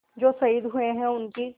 जो शहीद हुए हैं उनकी